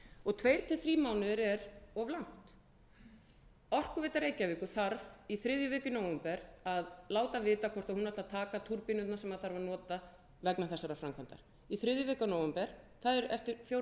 og tveir til þrír mánuðir er of langt orkuveita reykjavíkur þarf í þriðju viku í nóvember að láta vita hvort hún ætli að taka túrbínurnar sem þarf að nota vegna þessara framkvæmda í þriðju viku af nóvember það er eftir fjórar til fimm vikur hún þarf að